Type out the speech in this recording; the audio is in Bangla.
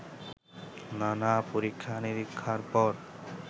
নানা-পরীক্ষা নিরীক্ষার পর